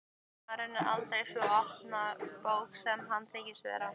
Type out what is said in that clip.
Maðurinn er aldrei sú opna bók sem hann þykist vera.